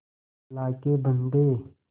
अल्लाह के बन्दे